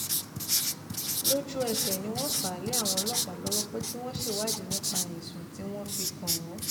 lójú-ẹsẹ̀ ni wọ́n fà á lé àwọn ọlọ́pàá lọ́wọ́ pé kí wọ́n ṣèwádìí nípa ẹ̀sùn tí wọ́n fi kàn án